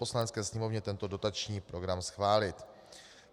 Poslanecké sněmovně tento dotační program schválit.